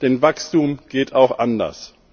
Denn Wachstum geht auch anders.